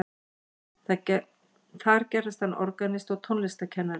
Þar gerðist hann organisti og tónlistarkennari.